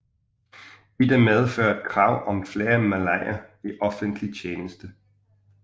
Dette medførte krav om flere malayer i offentlig tjeneste